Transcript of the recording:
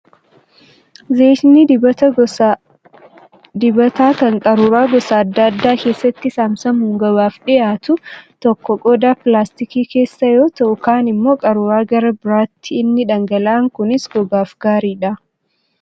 Zayitni dibataa gosa dibataa kan qaruuraa gosa adda addaa keessatti saamsamuun gabaaf dhiyaatu tokko tokko qodaa pilaastikaa keessa yoo taa'u, kaan immoo qaruuraa gara biraati. Inni dhangala'aan kunis gogaaf gaariidha.